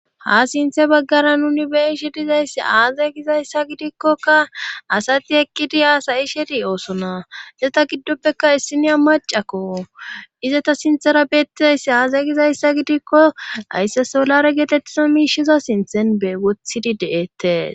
ha sinthe baggara nuni be'iishe dizayssi aazayy gizayssa gidikkoka asati ekkidi aasayi sheti de'osona seta giddoppekka issinya macakko iza ta sinthera beettizayssi aazay gizayssa gidikko haysse solare geetettiza miishiza sinthen e wothidi de7eettes